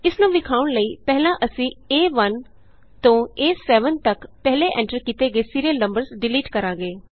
ਇਸ ਨੂੰ ਵਿਖਾਉਣ ਲਈ ਪਹਿਲਾਂ ਅਸੀਂ A1ਤੋਂ A7ਤਕ ਪਹਿਲੇ ਐਂਟਰ ਕੀਤੇ ਗਏ ਸੀਰੀਅਲ ਨੰਬਰਸ ਡਿਲੀਟ ਕਰਾਂਗੇ